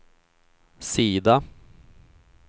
sida